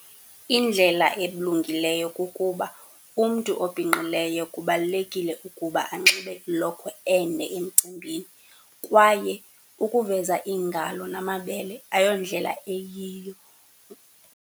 Indlela elungileyo kukuba umntu obhinqileyo kubalulekile ukuba anxibe ilokhwe ende emcimbini kwaye ukuveza iingalo namabele ayondlela eyiyo.